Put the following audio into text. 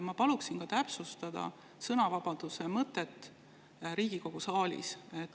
Samuti paluksin ma täpsustada sõnavabaduse mõtet Riigikogu saalis.